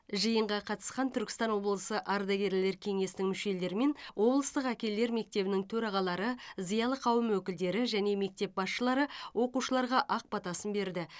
жиынға қатысқан түркістан облысы ардагерлер кеңесінің мүшелері мен облыстық әкелер мектебінің төрағалары зиялы қауым өкілдері және мектеп басшылары оқушыларға ақ батасын берді